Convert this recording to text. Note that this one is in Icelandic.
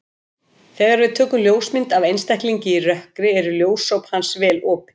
Þegar við tökum ljósmynd af einstaklingi í rökkri eru ljósop hans vel opin.